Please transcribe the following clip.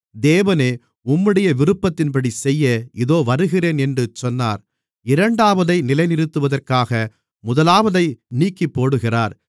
தேவனே உம்முடைய விருப்பத்தின்படிசெய்ய இதோ வருகிறேன் என்று சொன்னார் இரண்டாவதை நிலைநிறுத்துவதற்காக முதலாவதை நீக்கிப்போடுகிறார்